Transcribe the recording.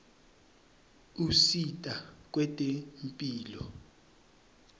usita kwetemphilo